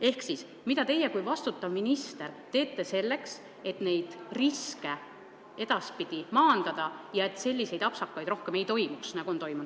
Ehk siis: mida teie kui vastutav minister teete selleks, et neid riske edaspidi maandada ja et selliseid apsakaid rohkem ei oleks?